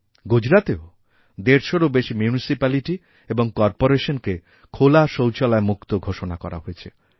গুজরাতেও দেড়শটিরও বেশি মিউনিসিপ্যালিটি এবং কর্পোরেশনকেখোলা শৌচালয়মুক্ত ঘোষণা করা হয়েছে